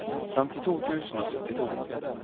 femtito tusen og syttito